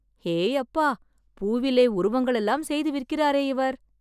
ஏயப்பா! பூவிலே உருவங்களெல்லாம் செய்து விற்கிறாரே இவர்!